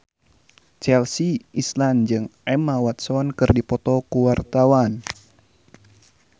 Chelsea Islan jeung Emma Watson keur dipoto ku wartawan